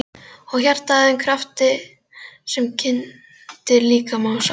Og hjartað að þeim krafti sem kyndir líkama og sál?